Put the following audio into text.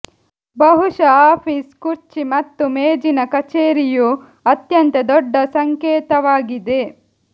ಬಹುಶಃ ಆಫೀಸ್ ಕುರ್ಚಿ ಮತ್ತು ಮೇಜಿನ ಕಚೇರಿಯು ಅತ್ಯಂತ ದೊಡ್ಡ ಸಂಕೇತವಾಗಿದೆ